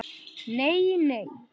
Nei, nei.